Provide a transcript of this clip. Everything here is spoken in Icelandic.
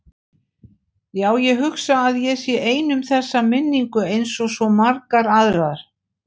Já, ég hugsa að ég sé ein um þessa minningu einsog svo margar aðrar.